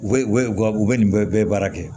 U bɛ u bɛ u ka u bɛ nin bɛɛ baara kɛ